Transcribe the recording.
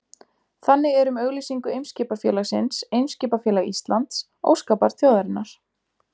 Þannig er um auglýsingu Eimskipafélagsins Eimskipafélag Íslands, óskabarn þjóðarinnar.